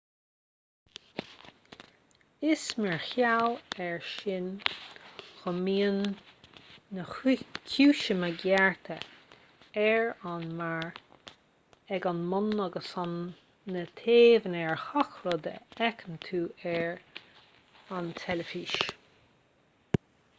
is mar gheall air sin go mbíonn na ciumhaiseanna gearrtha ar an mbarr ag an mbun agus ar na taobhanna ar gach rud a fheiceann tú ar tv